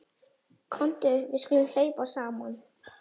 Komdu við skulum hlaupa saman.